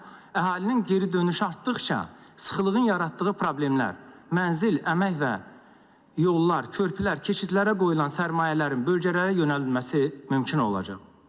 Əhalinin geri dönüşü artdıqca, sıxlığın yaratdığı problemlər, mənzil, əmək və yollar, körpülər, keçidlərə qoyulan sərmayələrin bölgələrə yönəldilməsi mümkün olacaq.